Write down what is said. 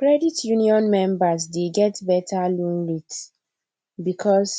credit union members dey get better loan rates because